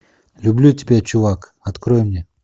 люблю тебя чувак открой мне